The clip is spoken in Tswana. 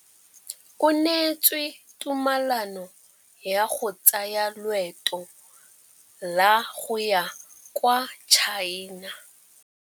O neetswe tumalanô ya go tsaya loetô la go ya kwa China.